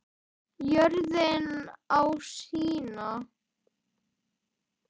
Jörðin á sína.